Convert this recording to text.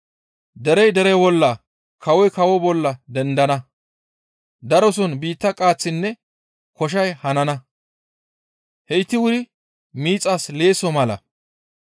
Derey dere bolla, kawoy kawo bolla dendana, daroson biitta qaaththinne koshay hanana; heyti wuri miixas leesso mala.